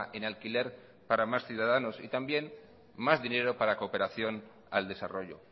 en alquiler para más ciudadanos y también más dinero para cooperación al desarrollo